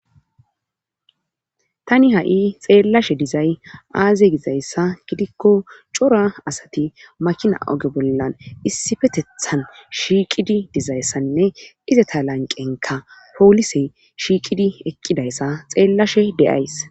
tani ha7i xeellashe dizay aaze gizayssa gidikko cora asati makina oge bollan issifetethan shiiqidi dizayssanne izeta lanqenka poolise shiiqidi eqqidayssa xeellashe deyays